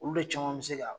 Olu de caman bɛ se ka